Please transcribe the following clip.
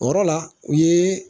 O yɔrɔ la u ye